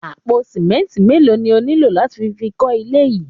Àpò sìmẹ́ńtì mélòó ni ó nílò láti fi kọ́ ilé yìí?